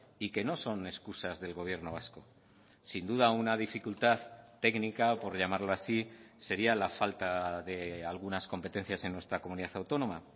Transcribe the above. y que no son excusas del gobierno vasco sin duda una dificultad técnica por llamarlo así sería la falta de algunas competencias en nuestra comunidad autónoma